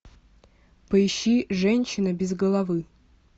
поищи женщина без головы